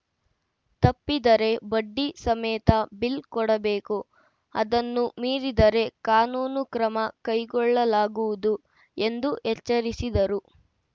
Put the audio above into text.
ತಪ್ಪಿದರೆ ಬಡ್ಡಿ ಸಮೇತ ಬಿಲ್‌ ಕೊಡಬೇಕು ಅದನ್ನೂ ಮೀರಿದರೆ ಕಾನೂನು ಕ್ರಮ ಕೈಗೊಳ್ಳಲಾಗುವುದು ಎಂದು ಎಚ್ಚರಿಸಿದರು